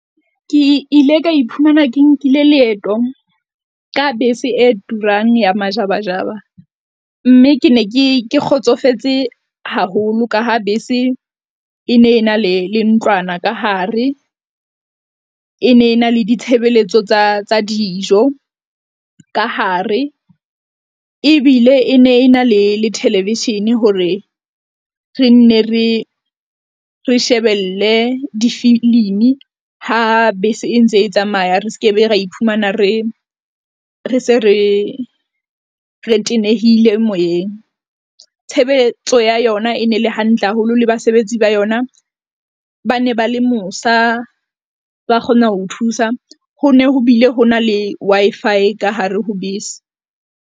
Ke ile ka iphumana ke nkile leeto ka bese e turang ya majabajaba, mme ke ne ke kgotsofetse haholo ka ha bese e ne e na le ntlwana ka hare, e ne e na le ditshebeletso tsa tsa dijo ka hare ebile e ne e na le theleveshene hore re nne re re shebelle difilimi ha bese e ntse e tsamaya. Re skebe, ra iphumana re re se re re tenehile moyeng. Tshebeletso ya yona e ne le hantle haholo, le basebetsi ba yona ba ne ba le mosa, ba kgona ho thusa ho ne ho bile hona le Wi-Fi ka hare ho bese.